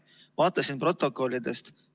Vaatasin protokollidest.